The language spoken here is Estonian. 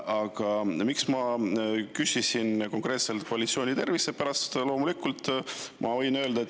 Aga miks ma küsisin konkreetselt koalitsiooni tervise kohta?